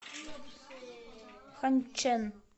ханьчэн